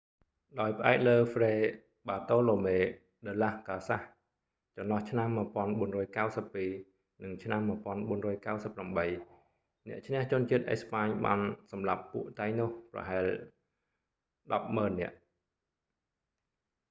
ដោយផ្អែកលើហ្វ្រេ បាតូឡូមេ ដឺឡាស កាសាស fray bartolomé de las casas tratado de las indias ចន្លោះឆ្នាំ 1492 និង ឆ្នាំ1498 អ្នកឈ្នះជនជាតិអេស្បាញ​បានសម្លាប់​ពួក តៃណូស taínos ប្រហែល​ 100000 នាក់។